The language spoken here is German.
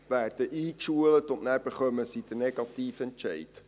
Sie werden eingeschult, und nachher erhalten sie den negativen Entscheid.